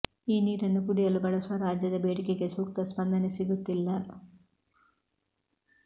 ಈ ನೀರನ್ನು ಕುಡಿಯಲು ಬಳಸುವ ರಾಜ್ಯದ ಬೇಡಿಕೆಗೆ ಸೂಕ್ತ ಸ್ಪಂದನೆ ಸಿಗುತ್ತಿಲ್ಲ